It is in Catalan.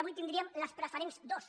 avui tindríem les preferents dos